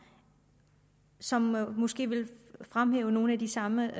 som måske vil fremhæve nogle af de samme